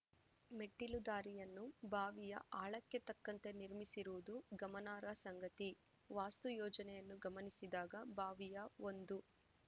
ಮೆಟ್ಟಿಲುದಾರಿಯನ್ನು ಬಾವಿಯ ಆಳಕ್ಕೆ ತಕ್ಕಂತೆ ನಿರ್ಮಿಸಿರುವುದು ಗಮನಾರ್ಹ ಸಂಗತಿ ವಾಸ್ತುಯೋಜನೆಯನ್ನು ಗಮನಿಸಿದಾಗ ಬಾವಿಯ ಒಂದು